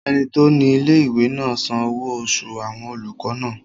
Ẹni tó ní ilé-ìwé náà san owó oṣù àwọn olùkọ́ náà